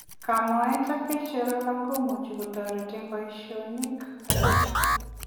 Kamoet ak peek chelolong komuuch kotoret eng poisionik alaaak.